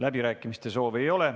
Läbirääkimiste soovi ei ole.